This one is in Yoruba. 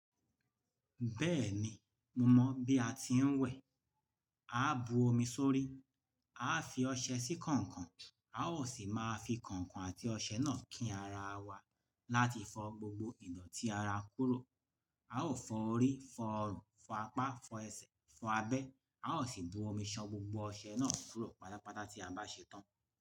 Bẹ́ẹ̀ni, mo mọ̀ bí a ti ń wẹ̀. A á bu omi sórí, a á fi ọṣẹ sí kọ̀nkọ̀n, a ó sì máa fi kọ̀nkọ̀n àti ọṣẹ náà kí ara wa láti fọ gbogbo ìdọ̀tí ara kúrò. A ó fọ orí, fọ ọrùn, fọ apá, fọ ẹsẹ̀, fọ abẹ́, a ó sì bu omi ṣan gbogbo ọṣẹ náà kúrò pátápátá tí a bá ṣetán.